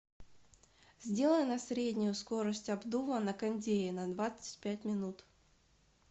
сделай на среднюю скорость обдува на кондее на двадцать пять минут